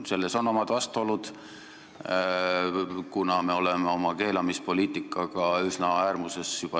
Selles on omad vastuolud, kuna me oleme oma keelamispoliitikaga juba niigi üsna äärmuses olnud.